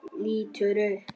Lítur upp.